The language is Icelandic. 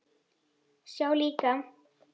Sjá líka